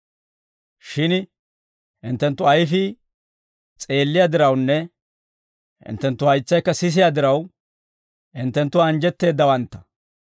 «Shin hinttenttu ayfii s'eelliyaa dirawunne hinttenttu haytsaykka sisiyaa diraw, hinttenttu anjjetteeddawantta.